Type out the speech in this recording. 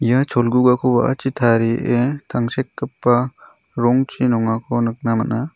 ia cholgugako wa·achi tarie tangsekgipa rongchi nongako nikna gita man·a.